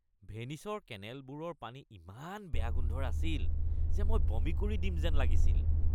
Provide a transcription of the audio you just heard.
ভেনিচৰ কেনেলবোৰৰ পানী ইমান বেয়া গোন্ধৰ আছিল যে মই বমি কৰি দিম যেন লাগিছিল।